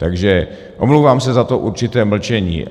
Takže omlouvám se za to určité mlčení.